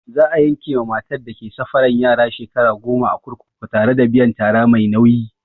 Za'a yanke ma matar da ke safaran yara shekara goma a kurkuku tare da biyan tara mai nauyi.